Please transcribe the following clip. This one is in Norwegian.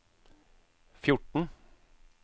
fjorten